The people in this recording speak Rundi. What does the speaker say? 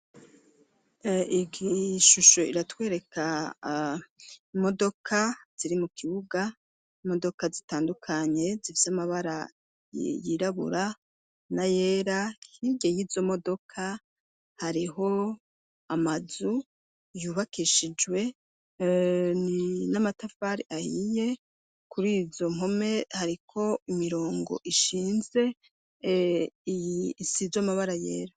Ig ishusho iratwereka imodoka ziri mu kibuga modoka zitandukanye zivyo amabara yirabura na yera hirye y'izo modoka hariho amazu yubakishijweni matafari ahiye kuri izo mpome hariko imirongo ishinze iisizo amabara yera.